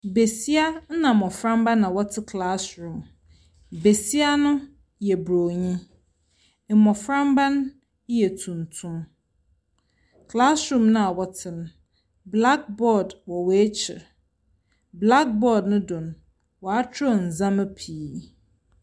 Besia na mmofra mma na wɔn te klaaswurum. Besia no yɛ broni, mmofra mma no yɛ tuntum. Klaaswurum na ɔte no blakbɔɔd wɔ wɔn akyiri. Blakbɔɔd no do no, wa atwerɛ neɛma pii.